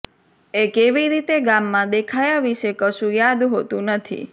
એ કેવી રીતે ગામમાં દેખાયા વિશે કશું યાદ હોતું નથી